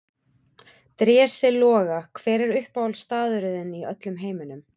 Drési Loga Hver er uppáhaldsstaðurinn þinn í öllum heiminum?